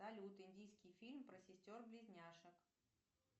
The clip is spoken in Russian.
салют индийский фильм про сестер близняшек